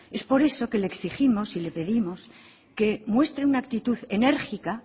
es por eso por lo que le exigimos y le pedimos que muestre una actitud enérgica